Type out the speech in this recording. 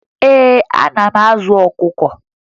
Ee, ana m azụ ọkụkọ